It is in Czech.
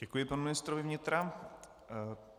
Děkuji panu ministrovi vnitra.